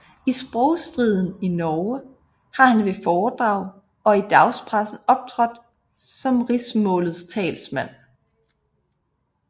I sprogstriden i Norge har han ved foredrag og i dagspressen optrådt som rigsmålets talsmand